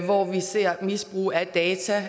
hvor vi ser misbrug af data